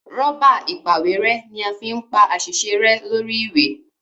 Rọ́bà ìpàwérẹ́ ní a fín pá àsìṣe rẹ lórí ìwé.